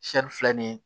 filɛ nin ye